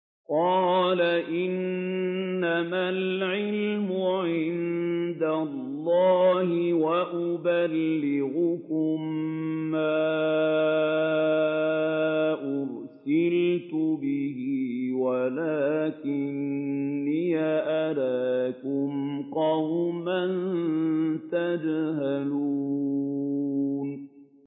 قَالَ إِنَّمَا الْعِلْمُ عِندَ اللَّهِ وَأُبَلِّغُكُم مَّا أُرْسِلْتُ بِهِ وَلَٰكِنِّي أَرَاكُمْ قَوْمًا تَجْهَلُونَ